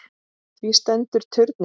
Því stendur turninn enn.